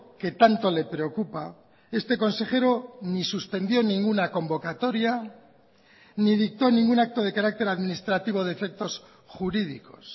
que tanto le preocupa este consejero ni suspendió ninguna convocatoria ni dictó ningún acto de carácter administrativo de efectos jurídicos